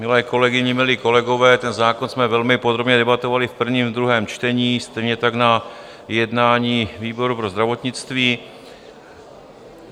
Milé kolegyně, milí kolegové, ten zákon jsme velmi podrobně debatovali v prvním i druhém čtení, stejně tak na jednání výboru pro zdravotnictví.